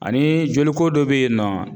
Ani joliko do be yen nɔ